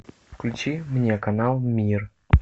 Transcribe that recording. включи мне канал мир